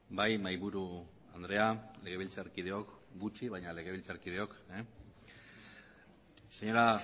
bai mahaiburu andrea legebiltzarkideok gutxi baina legebiltzarkideok señora